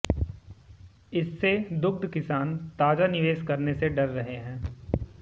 इससे दुग्ध किसान ताजा निवेश करने से डर रहे हैं